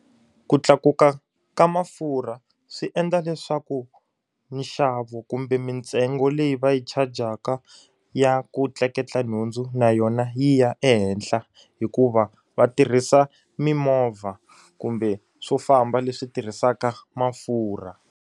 Ku tlakuka ka mafurha swi endla leswaku nxavo kumbe mintsengo leyi va yi chajaka ya ku tleketla nhundzu na yona yi ya ehenhla hikuva va tirhisa mimovha kumbe swo famba leswi tirhisaka mafurha.